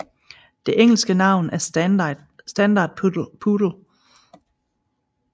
Det engelske navn er standard poodle